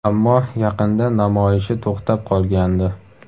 Ammo yaqinda namoyishi to‘xtab qolgandi .